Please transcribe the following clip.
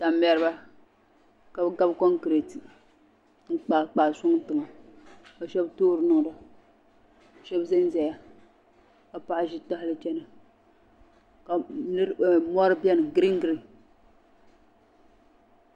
Tam mɛriba ka bi gabi kuŋ kuriti n kpaa kpaa sɔŋ, tiŋa ka shabi toori niŋ da ka shabi zan zaya ka paɣi ʒi tahili kpe na ka mɔri beni green green,